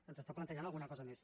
ens està plantejant alguna cosa més